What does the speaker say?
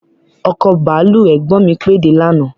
Ọkọ̀ bàálù ẹ̀gbọ́n mi pèé de lànàá